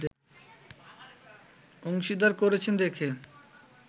অংশীদার করেছেন দেখে